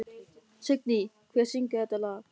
Signý, hver syngur þetta lag?